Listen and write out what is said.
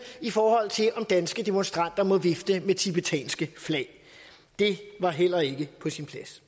i forhold til om danske demonstranter må vifte med tibetanske flag det var heller ikke på sin plads